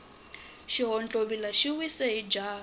xihontlovila xi wise hi jaha